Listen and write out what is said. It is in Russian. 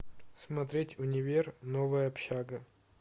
смотреть универ новая общага